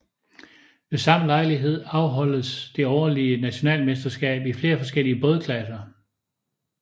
Ved samme lejlighed afholdes det årlige nationalmesterskab i flere forskellige bådklasser